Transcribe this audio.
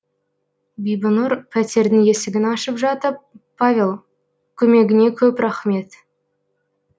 бибінұр пәтердің есігін ашып жатып павел көмегіңе көп рахмет